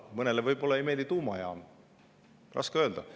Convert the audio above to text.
Mõnele võib-olla ei meeldi tuumajaam, raske öelda.